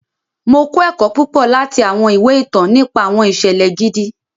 Mo kọ ẹkọ púpọ láti awọn ìwé ìtàn nípa awọn iṣẹlẹ gidi.